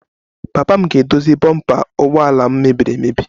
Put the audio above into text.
Papa m ga-edozi bompa ụgbọ ala m mebiri emebi